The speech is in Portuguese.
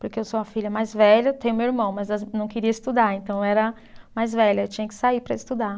Porque eu sou a filha mais velha, tenho meu irmão, mas as não queria estudar, então eu era mais velha, eu tinha que sair para estudar.